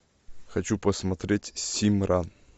хочу посмотреть симра